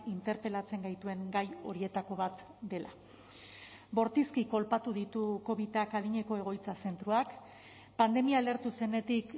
interpelatzen gaituen gai horietako bat dela bortizki kolpatu ditu covidak adineko egoitza zentroak pandemia lehertu zenetik